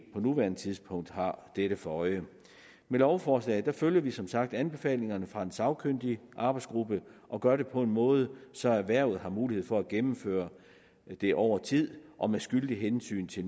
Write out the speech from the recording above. på nuværende tidspunkt har dette for øje med lovforslaget følger vi som sagt anbefalingerne fra den sagkyndige arbejdsgruppe og gør det på en måde så erhvervet har mulighed for at gennemføre det over tid og med skyldigt hensyn til